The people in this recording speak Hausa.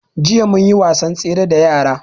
Jiya mun yi wasan tsere da yara